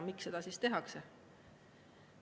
Miks seda tehakse?